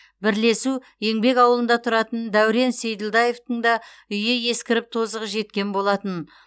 бірлесу еңбек ауылында тұратын дәурен сейділдаевтың да үйі ескіріп тозығы жеткен болатын